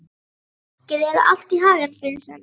Gangi þér allt í haginn, Friðsemd.